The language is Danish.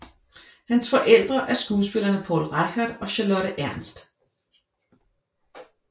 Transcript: Hans forældre er skuespillerne Poul Reichhardt og Charlotte Ernst